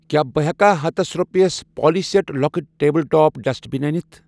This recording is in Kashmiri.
کیٛاہ بہٕ ہٮ۪کا ہتس رۄپٮ۪س پالی سٮ۪ٹ لۄکُٕٹ ٹیبٕل ٹاپ ڈسٹ بِن أنِتھ.